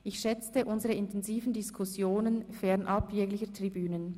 Ich schätzte unsere intensiven Diskussionen, fernab jeglicher Tribünen.